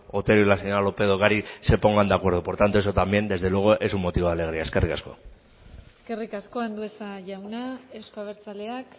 otero y la señora lópez de ocariz se pongan de acuerdo por tanto eso también desde luego es un motivo de alegría eskerrik asko eskerrik asko andueza jauna euzko abertzaleak